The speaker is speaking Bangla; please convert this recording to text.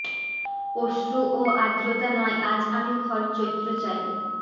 অশ্রু ও আর্দ্রতা নয় আজ আমি খর চৈত্র চাই